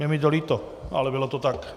Je mi to líto, ale bylo to tak.